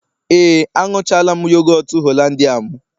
Ee, añụchala'm yogọt hollandia m